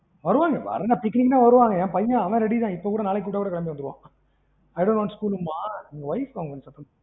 வருவாங்க picnic னா வருவாங்க என் பையன் அவன் ready தான் இப்போ கூட நாங்க கூப்பிடா கூட கேளம்பிருவான் i dont want school ன்பான் wife அவங்க சத்தம் போடுவாங்க.